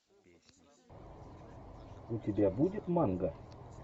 у тебя будет манга